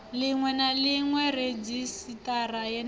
ḽiṅwe na ḽiṅwe redzhisiṱara yeneyo